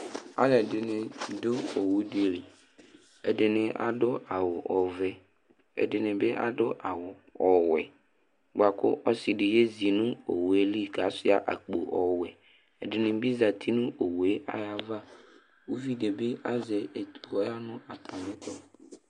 Alu ɛdini du owu di li Ɛdini adu awu ɔvɛ ɛdini bi adu awu ɔwɛ bua ku ɔsi di yezi nu owu yɛ li ku asuia akpo ɔwɛ Ɛdini bi za uti nu owu yɛ ayu ava Uvi di bi azɛ etu ku ɔya nu atami ɛtu